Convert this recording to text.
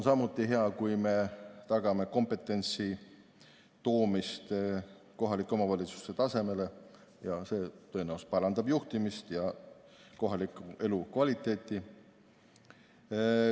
Samuti on hea, kui me tagame kompetentsi toomist kohalike omavalitsuste tasemele, see tõenäoliselt parandab juhtimist ja kohalikku elukvaliteeti.